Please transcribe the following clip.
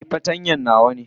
Eh, fartanya nawa ne.